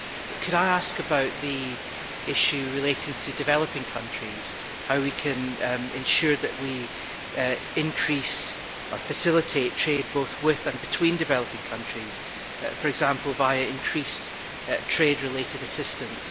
I should like to ask about the issue relating to developing countries and how we can ensure that we increase or facilitate trade both with and between developing countries, for example via increased trade related assistance.